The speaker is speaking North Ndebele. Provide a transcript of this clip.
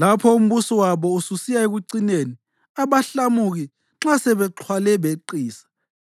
Lapho umbuso wabo ususiya ekucineni, abahlamuki nxa sebexhwale beqisa,